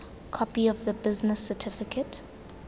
copy of the business certificate